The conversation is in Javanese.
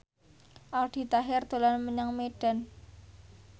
Aldi Taher dolan menyang Medan